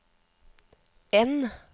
N